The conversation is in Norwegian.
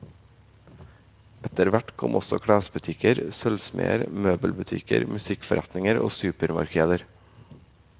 Etterhvert kom også klesbutikker, sølvsmeder, møbelbutikker, musikkforretninger og supermarkeder.